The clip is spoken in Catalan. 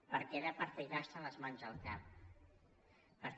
perquè era per ficar se les mans al cap perquè